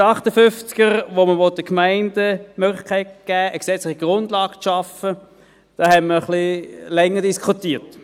Bei Artikel 258, bei welchem man den Gemeinden die Möglichkeit geben will, eine gesetzliche Grundlage zu schaffen, haben wir länger diskutiert.